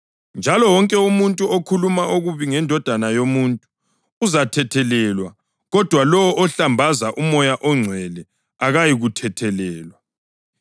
Njalo wonke umuntu okhuluma okubi ngeNdodana yoMuntu uzathethelelwa kodwa lowo ohlambaza uMoya oNgcwele akayikuthethelelwa.